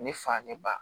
Ne fa ne ba